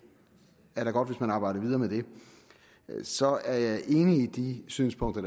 er da godt hvis man arbejder videre med det så er jeg enig i de synspunkter